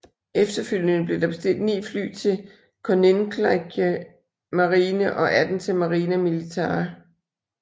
Efterfølgende blev der bestilt 9 fly til Koninklijke Marine og 18 til Marina Militare